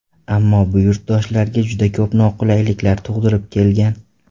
Ammo bu yurtdoshlarga juda ko‘p noqulayliklar tug‘dirib kelgan.